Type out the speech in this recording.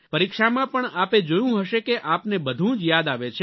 પરીક્ષામાં પણ આપે જોયું હશે કે આપને બધું જ યાદ આવે છે